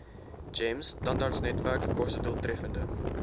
gems tandartsnetwerk kostedoeltreffende